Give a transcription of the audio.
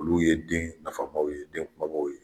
Olu ye den nafamaw ye den kumabaw ye.